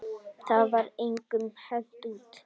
Það var engum hent út.